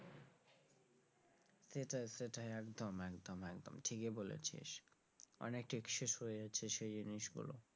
সেটাই সেটাই একদম একদম একদম ঠিকই বলেছিস অনেক excess হয়ে যাচ্ছে সেই জিনিসগুলো।